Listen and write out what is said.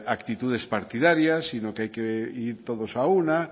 actitudes partidarias sino que hay que ir todos a una